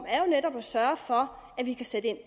er jo netop at sørge for at vi kan sætte ind